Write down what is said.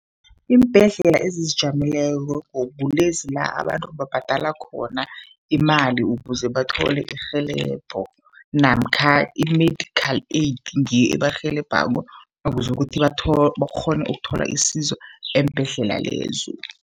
Iimbhedlela ezizijameleko kulezi la abantu babhadala khona imali, ukuze bathole irhelebho. Namkha i-medical aid ngiyo ebarhelebhako, ukuze ukuthi bakghone ukuthola isizo eembhedlela lezo.